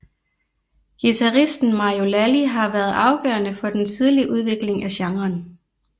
Guitaristen Mario Lalli har været afgørende for den tidlige udvikling af genren